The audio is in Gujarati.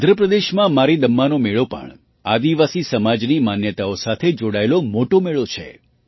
આંધ્ર પ્રદેશમાં મારીદમ્માનો મેળો પણ આદિવાસી સમાજની માન્યતાઓ સાથે જોડાયેલો મોટો મેળો છે